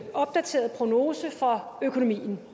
opdaterede prognose for økonomien